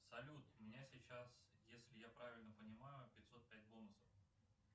салют у меня сейчас если я правильно понимаю пятьсот пять бонусов